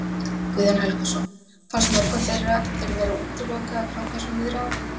Guðjón Helgason: Fannst mörgum þeirra þeir vera útilokaðir frá þessum viðræðum?